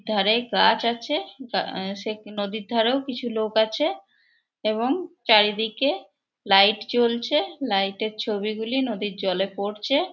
ধারে গাছ আছে আহ এ সে নদীর ধারেও কিছু লোক আছে এবং চারিদিকে লাইট জ্বলছে। লাইট -এর ছবিগুলি নদীর জলে পড়ছে।